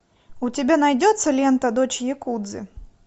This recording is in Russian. у тебя найдется лента дочь якудзы